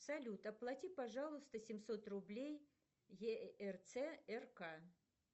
салют оплати пожалуйста семьсот рублей ерц рк